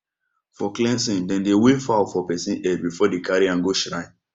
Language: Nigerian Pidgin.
for cleansing dem dey wave fowl for person head before dem carry am go shrine